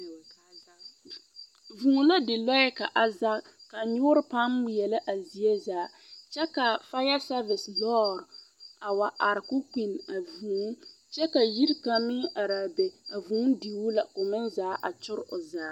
Vŭŭ la di lɔɛ ka a zage, ka nyoore paaŋ ŋmeɛlɛ a zie zaa kyɛ ka fayasɛvese lɔɔr a wa are k'o kpinni a vŭŭ. Kyɛ ka yiri kaŋ meŋ ar'a be, a vŭŭ diu la k'o meŋ zaa a kyor o zaa.